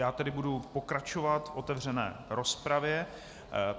Já tedy budu pokračovat v otevřené rozpravě.